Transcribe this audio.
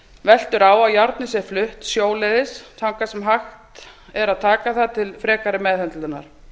veltur á að járnið sé flutt sjóleiðis þangað sem hægt er að taka það til frekari meðhöndlunar